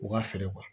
U ka fɛɛrɛ